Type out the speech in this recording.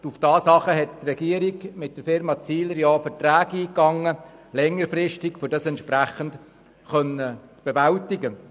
Daraufhin ging die Regierung mit der Firma Zihler social development längerfristige Verträge ein, um diese Aufgabe zu bewältigen.